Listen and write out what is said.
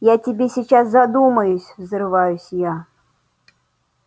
я тебе сейчас задумаюсь взрываюсь я